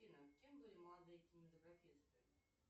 афина кем были молодые кинематографисты